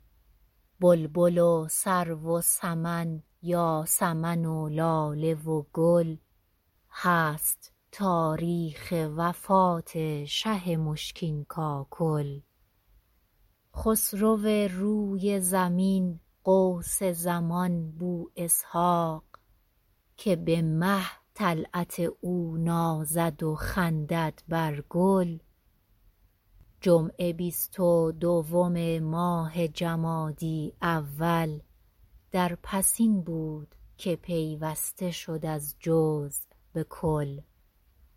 بلبل و سرو و سمن یاسمن و لاله و گل هست تاریخ وفات شه مشکین کاکل خسرو روی زمین غوث زمان بواسحاق که به مه طلعت او نازد و خندد بر گل جمعه بیست و دوم ماه جمادی الاول در پسین بود که پیوسته شد از جزو به کل